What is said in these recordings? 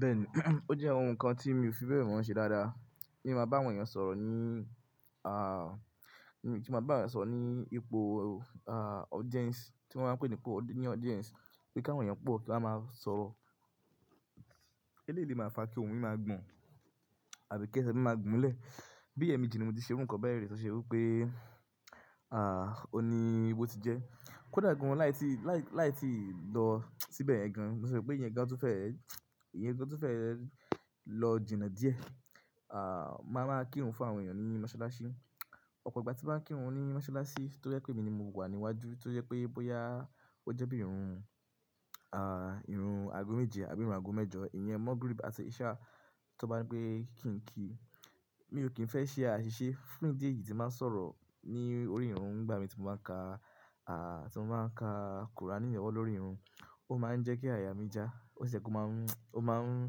Bẹ́ẹ̀ni, ó jẹ́ ohun kan tí mi ò fi bẹ́ẹ̀ mọ́ ṣe dáadáa. Kí n máa bá àwọn èèyàn sọ̀rọ̀ ní, à, kí ó máa bá eyan sọ̀rọ̀ ní ipò, à, audience, tí wọ́n máa ń pè ní ipò ní audience, pé kí àwọn èèyàn pọ̀ kí wọ́n máa sọ̀rọ̀. Eleyi le máa ń fa kí ohùn mi máa gbọ̀n àbí kí ẹsẹ̀ mi máa gbón lẹ́ẹ̀. Bí ẹ̀meji ni mo ti ṣe iru kan bẹ́ẹ̀ rí tí ó ṣe wí pé, à, òní ibo ti jẹ́. Kódà gan láì tí, láì, láì tí ì lọ̀ síbẹ̀ gan. Mo sọ pé ìyẹn gan tún fẹ́, ìyẹn gan tún fẹ́ lọ jìnà díẹ̀. À, màá máa kírun fún àwọn èèyàn ní mọ́sálásí. Ọ̀pọ̀ ìgbà tí màá ń kírun ní mọ́sálásí toje pé èmi ni mo wà níwájú, toje pé bóyá ó jẹ́ bí i irun, à, irun ago méje àbí irun ago mẹ́jọ, ìyẹn Maghrib àti Ishaa tí wọ́n bá ń pe kí n kí, mi ò kí ń fẹ́ ṣe àṣìṣe. Fún ìdí èyí tí màá ń sọ̀rọ̀ ní orí irun nígbà mi tí mo bá ń ka, à, tí mo bá ń ka kùránì lọ́wọ́ lórí irun, ó máa ń jẹ́ kí àyà mi já, ó sì je kó máa ń, ó máa ń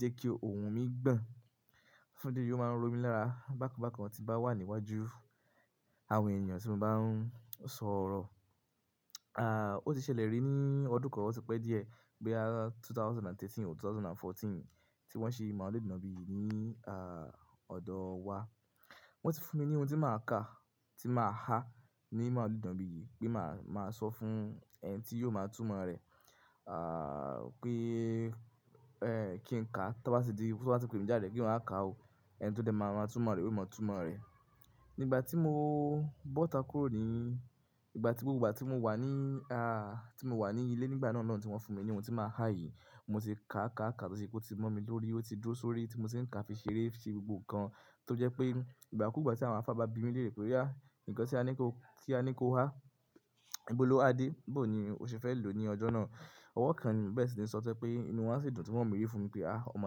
jẹ́ kí ohùn mi gbọ̀n. Fún ìdí èyí ó máa ń ró mi lára bákan bákan tí bá wà níwájú àwọn èèyàn tí mo bá ń sọ̀rọ̀. À, ó ti ṣẹlẹ̀ rí ní ọdún kan, ó ti pẹ́ díẹ̀, boya ẹgbẹ̀rún méjì ó lé mẹ́tàlá, ẹgbẹ̀rún méjì ó lé ẹ̀rinlá tí wọ́n ṣe màlúù bí yìí ní, à, ọ̀dọ̀ wa. Wọ́n ti fún mi ní ohun tí màá ka, tí màá há ní màlúù bí yìí pé màá, màá sọ fún ẹni tí yóò máa túmọ̀ rẹ̀, à, pé, ẹ́, kí n ka. Tí wọ́n bá tì di, tí wọ́n bá ti pe mí jáde pé máa ka o, ẹni tó dé máa, máa túmọ̀ rẹ̀, ó yóò máa túmọ̀ rẹ̀. Nígbà tí mo bọ́ta kúrò ní, nígbà tí gbogbo ìgbà tí mo wà ní, à, tí mo wà ní ilé nígbà náà náà tí wọ́n fún mi ní ohun tí màá há yìí, mo ti ka ka ka tọ sí pé ó ti mọ́ mi lórí, ó ti dúró sórí tí mo sì ń ka fi ṣeré fi gbogbo nǹkan tó jẹ́ pé ìgbà kúgbà tí àwọn àfá bí mi léèrè pé, "oya Ǹkan tí a ní kí o, tí a ní kí o há, ìbò ló ha dé?" Bó ni o ṣe fẹ́ lò ní ọjọ́ náà. Ọwọ́ kan bẹ́ẹ̀ sì ni sọtẹ́ pé inú wọn sì dùn tí wọ́n mírẹ̀ fún mi pé, "Ah! Ọmọ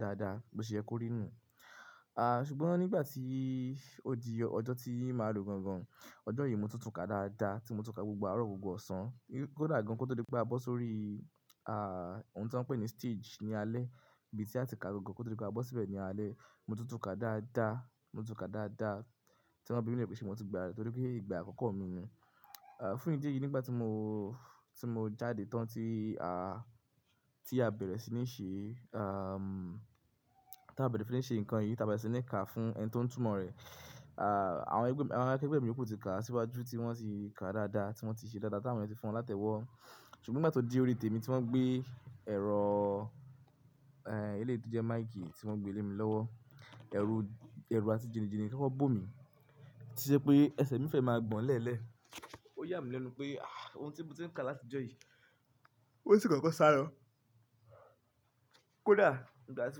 dáadáa." Bí ṣe ẹ kó rí nù. À, ṣùgbọ́n nígbà tí ó di ọjọ́ tí màá lo gan gan, ọjọ́ yìí mo ti tún ka dáadáa, tí mo tún ka gbogbo àárọ̀ gbogbo ọ̀sán. Kódà gan kó tó dé pé a bọ́ sórí, à, ohun tí wọ́n ń pè ní stage ní alẹ́, ibi tí a ti ka gangan kó tó dé pé a bọ́ síbẹ̀ ní alẹ́. Mo tuntún ka dáadáa, mo tún ka dáadáa tí wọ́n bí mi léèrè pé ṣé mo ti gbà torí pé ìgbà àkọ́kọ́ mi ni. À, fún ìdí èyí nígbà tí mo, tí mo jáde tán tí, à, tí a bẹ̀rẹ̀ sí ní ṣe, à, tí a bẹ̀rẹ̀ sí ní ṣe nǹkan yìí, tí a bẹ̀rẹ̀ sí ní ka fún ẹni tó ń túmọ̀ rẹ̀. À, àwọn ẹgbẹ́, àwọn akẹgbẹ́ mi iyòkú ti kà síwájú tí wọ́n ti kà dáadáa, tí wọ́n ti ṣe dáadáa tí àwọn ènìyàn ti fún wọn láti ẹ̀wọ́. Ṣùgbọ́n nígbà tó di orí tèmi tí wọ́n gbé ẹ̀rọ, ẹ́, ilé tí ó jẹ́ máìkì tí wọ́n gbé lé mi lọ́wọ́, ẹrù, ẹrù àti jinjìnì koko bò mi, to je pé ẹsẹ̀ mi fẹ́ máa gbọ̀n lẹ́ẹ̀lẹ́. Ó yà mí lẹ́nu pé, ah! Ohun tí mo ti ń ka láti ọjọ́ yìí, ó sì kàn kọ́ sálo Kódà ìgbà tí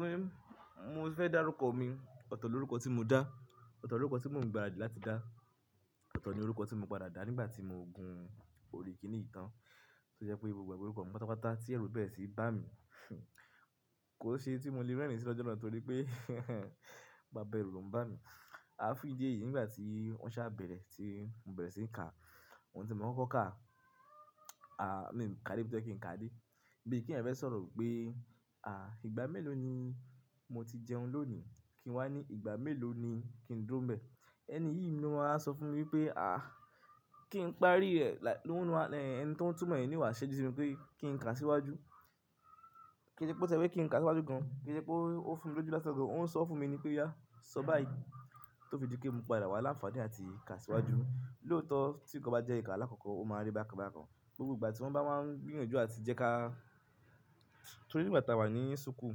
wọ́n, mo fẹ́ dá rúkọ mi, otó ní orúkọ tí mo dá, otó ní orúkọ tí mò ń gba àdí láti dá, otó ní orúkọ tí mo padà dá nígbà tí mo gun orí kìíní ìtàn. Toje pé mo ẹgbẹ́ orúkọ mi pátápátá tí ẹrú bẹ́rẹ̀ sì bá mi. Kò ṣe tí mo lè rẹ́rìn sí lọ́jọ́ náà torí pé bàbá ẹrú ló ń bá mi. À fún ìdí èyí nígbà tí wọ́n sá bẹ̀rẹ̀ tí mò ń bẹ̀rẹ̀ sí ní ka, ohun tí mò ń kọ́ ká, à, mi ka dé bí tóye kí n ka dé. Bí i kí ẹ̀yin fẹ́ sọ̀rọ̀ pé, à, ìgbà mélòó ni mo ti jẹun lónìí kí n wá ní ìgbà mélòó ni kí n dúró bẹ̀. Ẹni yìí ni ló máa wa sọ fún mi wípé, à, kí n parí rẹ̀, láì, lóhùnú, ẹni tí ó ń túmọ̀ ẹ̀ ní owà ṣẹ́ju sí mi pé kí n kà síwájú. Kí n ṣe pé ó ṣẹ́ wí pé kí n kà síwájú gan-an, kí n ṣe pé ó fún mi lójú lásan gàn. Ó ń sọ fúnmi nípé o yaa! Sọ báyìí." Tó fi di pe mo padà wà lánfàaní àti kà síwájú. Loótọ́ tí nǹkan bá jẹ́ nnkan aláàkọ́kọ́, o máa n rí bákan bákan. Gbogbo ìgbà tí wọ́n bá máa ń gbìyànjú àti jẹ́ ká Torí nígbà táa wà ní súkùu,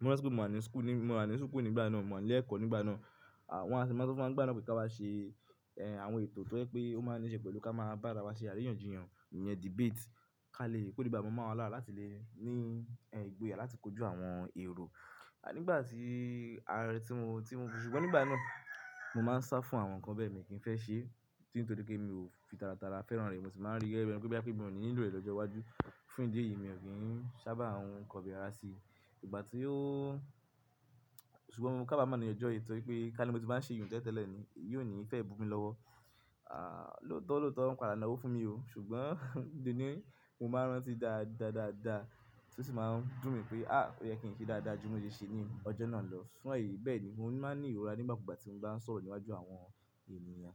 mo ranti pe mo ní súkùu nígbà náà, mo wà ní ilé ẹ̀kọ́ nígbà náà. À, wọ́n á sì máa ń sọ fún wa nígbà náà pé kí a bá ṣe, ẹ, àwọn ètò tí ó jẹ́ pé ó máa ńi ṣe pẹ̀lú kí a máa bá ara wa ṣe àríyànjiyàn, ìyẹn debate ká lè kó le baa mọ́ wọn lára láti lè ní, ẹ, ìgboyà láti kojú àwọn èrò. À nígbà tí, àti tí mo, tí mo, ṣùgbọ́n nígbà náà mo máa ń sá fún àwọn nǹkan bẹ́ẹ̀ mi kí ń fẹ́ ṣe. Torí pé mi ò fi tàràtàrà fẹ́ràn rẹ̀, mo sì máa ń rí gege bi eni pé boyá pe mi ò ní nílò rẹ̀ lọ́jọ́ iwájú. Fún ìdí èyí mi ò kí ń sábà n kobi ara sí i. Ìgbà tí ó-- ṣùgbọ́n mo kábàámọ̀ ni ọjọ́ yìí torí pé ká ní mo ti bá ń ṣe yun tẹ́lẹ̀ tẹ́lẹ̀ ni, iyi ò ní fẹ́ bumi lọ́wọ́. À, lóòótọ́ lóòótọ́ wọn padà na owó fún mi o. Ṣùgbọ́n deni mò maa ń rántí dáadáa dáadáa tí ó sì máa ń dùn mí pé, ah! Ó yẹ kí n ṣe dáadáa ju mo ṣe ṣe ní ọjọ́ náà lọ. Fún èyí bẹ́ẹ̀ ni mò ń máa ń ní ìrora nígbà kúgbà tí mò ń bá ń sọ̀rọ̀ níwájú àwọn ènìyàn.